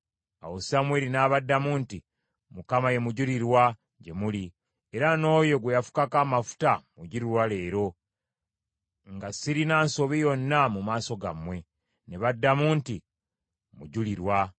Awo Samwiri n’abaddamu nti, “ Mukama ye mujulirwa gye muli, era n’oyo gwe yafukako amafuta mujulirwa leero, nga sirina nsobi yonna mu maaso gammwe.” Ne baddamu nti, “Mujulirwa.”